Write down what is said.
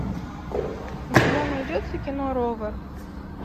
у тебя найдется кино ровер